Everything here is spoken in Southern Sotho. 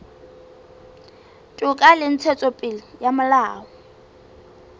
toka le ntshetsopele ya molao